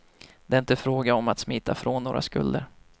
Det är inte fråga om att smita från några skulder.